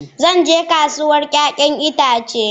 Zan je kasuwar 'ya'yan itace.